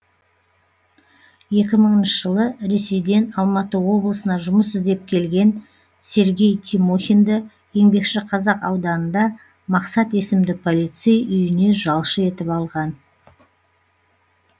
екі мыңыншы жылы ресейден алматы облысына жұмыс іздеп келген сергей тимохинді еңбекшіқазақ ауданында мақсат есімді полицей үйіне жалшы етіп алған